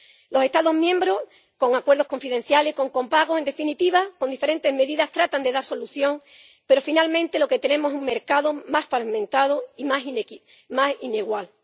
Los Estados miembros, con acuerdos confidenciales, con copago, en definitiva, con diferentes medidas, tratan de dar solución, pero, finalmente, lo que tenemos es un mercado más fragmentado y más desigual.